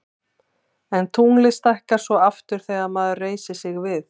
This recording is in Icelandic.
en tunglið stækkar svo aftur þegar maður reisir sig við